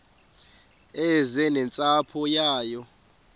eze nentsapho yayo